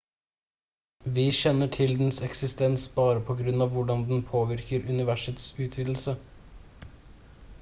vi kjenner til dens eksistens bare på grunn av hvordan den påvirker universets utvidelse